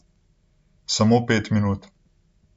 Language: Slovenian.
Samo pet minut!